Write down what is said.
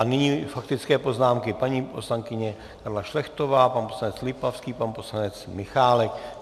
A nyní faktické poznámky - paní poslankyně Karla Šlechtová, pan poslanec Lipavský, pan poslanec Michálek.